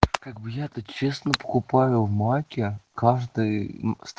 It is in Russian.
как бы я то честно покупаю в маке каждый ст